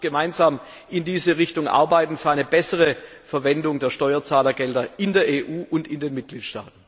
Lasst uns gemeinsam in diese Richtung arbeiten für eine bessere Verwendung der Steuerzahlergelder in der EU und in den Mitgliedstaaten!